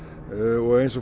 og eins og